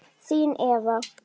Þín Eva.